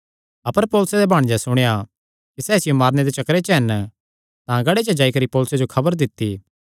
अपर पौलुसे दे भांणजे सुणेया कि सैह़ इसियो मारने दे चक्करे च हन तां गढ़े च जाई करी पौलुसे जो खबर दित्ती